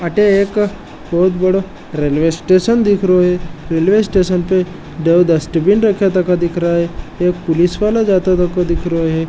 अठे एक बोहोत बड़ो रेल्वे स्टेशन दिखरो है रेल्वे स्टेशन पे दो डस्टबिन रख्या तको दिख रयो है एक पुलिस वाला जाता तको दिख रयो है।